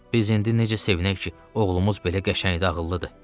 Biz indi necə sevinək ki, oğlumuz belə qəşəngdir, ağıllıdır.